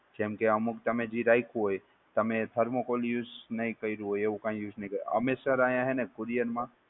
જેમ કે અમુક ટાઇમે જી રાખ્યું હોય, તમે thermocol use નહી કર્યું હોય એવું કાઇ use નઈ, અમે સર આયાં હેને કૂરિયર માં.